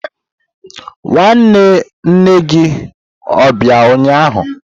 Nwanne nne gi o bia ụnyahụ?